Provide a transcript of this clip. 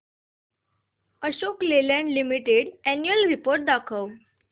Ashok Leyland limited annual report दाखव